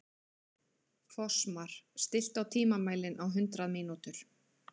Fossmar, stilltu tímamælinn á hundrað mínútur.